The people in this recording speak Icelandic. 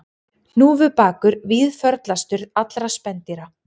Hnúfubakur víðförlastur allra spendýra